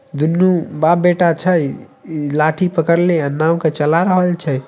दूनू बाप बेटा छै इ लाठी पकड़ले नाव के चला रहल छै।